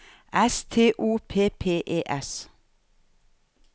S T O P P E S